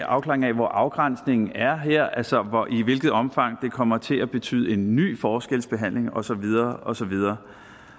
afklaring af hvor afgrænsningen er her altså i hvilket omfang det kommer til at betyde en ny forskelsbehandling og så videre og så videre